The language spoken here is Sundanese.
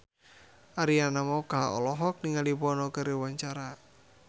Arina Mocca olohok ningali Bono keur diwawancara